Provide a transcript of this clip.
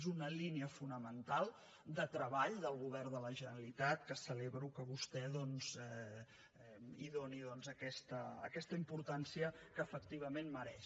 és una línia fonamental de treball del govern de la generalitat que celebro que vostè hi doni aquesta importància que efectivament mereix